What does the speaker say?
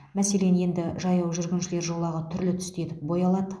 мәселен енді жаяу жүргіншілер жолағы түрлі түсті етіп боялады